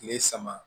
Tile saba